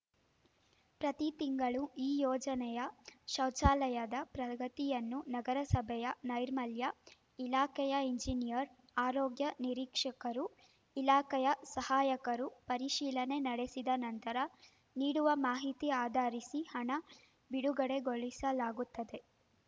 ಪ್ರತಿ ತಿಂಗಳೂ ಈ ಯೋಜನೆಯ ಶೌಚಾಲಯದ ಪ್ರಗತಿಯನ್ನು ನಗರಸಭೆಯ ನೈರ್ಮಲ್ಯ ಇಲಾಖೆಯ ಇಂಜಿನಿಯರ್‌ ಆರೋಗ್ಯ ನಿರೀಕ್ಷಕರು ಇಲಾಖೆಯ ಸಹಾಯಕರು ಪರಿಶೀಲನೆ ನಡೆಸಿದ ನಂತರ ನೀಡುವ ಮಾಹಿತಿ ಆಧರಿಸಿ ಹಣ ಬಿಡುಗಡೆಗೊಳಿಸಲಾಗುತ್ತದೆ